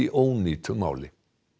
ónýtu máli